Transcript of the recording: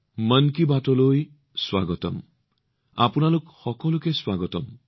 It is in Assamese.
মন কী বাতলৈ স্বাগতম